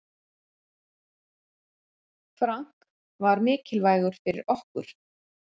Frank var mikilvægur fyrir okkur.